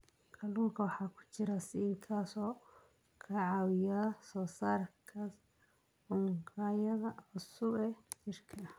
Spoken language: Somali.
Kalluunka waxaa ku jira zinc, kaas oo ka caawiya soo saarista unugyada cusub ee jirka.